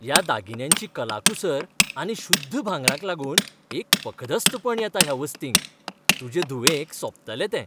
ह्या दागिन्यांची कलाकुसर आनी शुद्ध भांगराक लागून एक पखदस्तपण येता ह्या वस्तींक. तुजे धुवेक सोबतले ते.